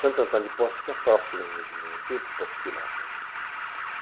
Santo Antônio de Poço fica próximo de Mogimê, muito poucos quilômetros.